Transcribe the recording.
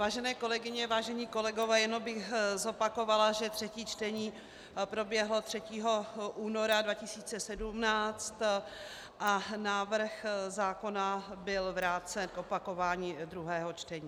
Vážené kolegyně, vážení kolegové, jenom bych zopakovala, že třetí čtení proběhlo 3. února 2017 a návrh zákona byl vrácen k opakování druhého čtení.